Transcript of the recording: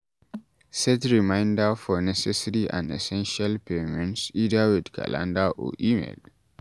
Set reminder for necessary and essential payments either with calender or email